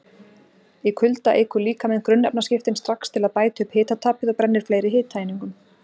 Í kulda eykur líkaminn grunnefnaskiptin strax til að bæta upp hitatapið og brennir fleiri hitaeiningum.